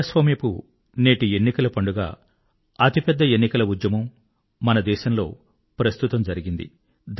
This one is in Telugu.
ప్రజాస్వామ్యపు నేటి ఎన్నికలపండుగ అతి పెద్ద ఎన్నికల ఉద్యమం మన దేశం లో ప్రస్తుతం జరిగింది